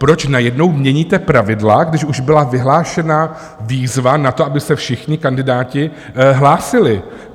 Proč najednou měníte pravidla, když už byla vyhlášena výzva na to, aby se všichni kandidáti hlásili?